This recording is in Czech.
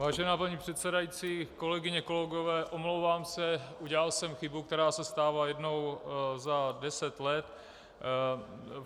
Vážená paní předsedající, kolegyně, kolegové, omlouvám se, udělal jsem chybu, která se stává jednou za deset let.